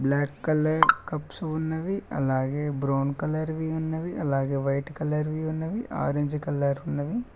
Black colour cups ఉన్నవి అలాగే brown colour వి ఉన్నవి అలాగే వైట్ కలర్ వి ఉన్నవి ఆరెంజ్ కలర్ వి ఉన్నవి.